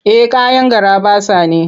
Eh kayan garaɓasa ne.